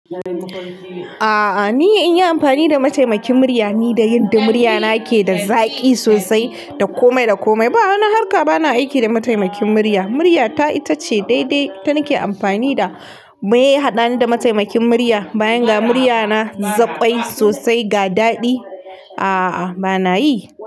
A'a, ni in yi amfani da mataimakin murya, ni da yanda murya na ke da zaƙi sosai, da komai da komai. Ba wani harka ba na aiki da mataimakin murya. Murya ta ita ce daidai, ita nake amfani da. Me ya haɗani da mataimakin murya, bayan ga murya na zaɓai sosai ga daɗi. A'a, ba na yi.